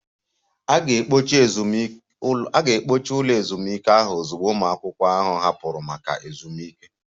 A ga-ekpochi ụlọ ezumike ahụ ozugbo ụmụ akwụkwọ ahụ hapụrụ maka ezumike